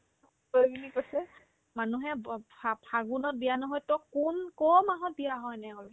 ঐ বুলি কৈছে মানুহে ব ভাব ফা ~ ফাগুনত বিয়া নহয় তই কোন ক'ৰ মাহত বিয়া হ' এনেকে ক'লে